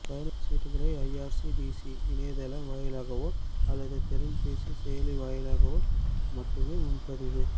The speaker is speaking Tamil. பயணச்சீட்டுகளை ஐஆர்சிடிசி இணையதளம் வாயிலாகவோ அல்லது திறன்பேசி செயலி வாயிலாகவோ மட்டுமே முன்பதிவு